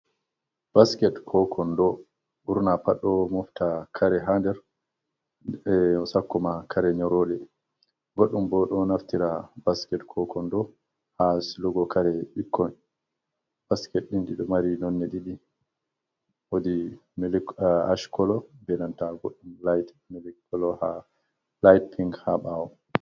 Basket koo konndo, ɓurna pat ɗo mofta kare haa nder sakko maa kare nyorooɗe, goɗɗum bo ɗo naftira basket koo konndo haa silugo kare ɓikkon, basket ɗi'i ɗo mari nonnde ɗiɗi, woodi ash kolo bee nanta goɗɗum milk kolo, laayt pink haa ɓaawo.